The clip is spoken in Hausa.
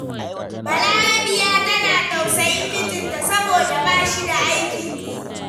Balarabiya tana tausayin mijnta, saboda ba shi da aikin yi.